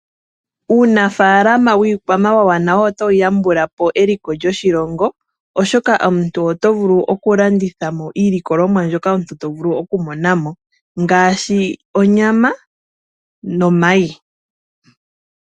Uunafaalama wiikwamawawa nawo otawu yambula po eliko lyoshilongo, oshoka omuntu oto vulu okulanditha iilikolomwa mboka to vulu okumona ko ngaashi onyama nomayi